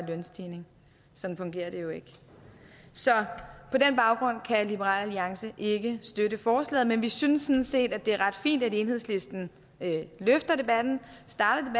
lønstigning sådan fungerer det jo ikke så på den baggrund kan liberal alliance ikke støtte forslaget men vi synes sådan set det er ret fint at enhedslisten løfter debatten starter